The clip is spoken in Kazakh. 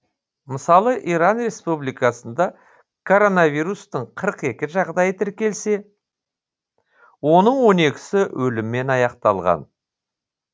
мысалы иран республикасында коронавирустың қырық екі жағдайы тіркелсе оның он екісі өліммен аяқталған